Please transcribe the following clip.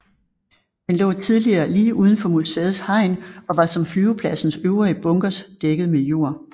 Den lå tidligere lige uden for museets hegn og var som flyvepladsens øvrige bunkers dækket med jord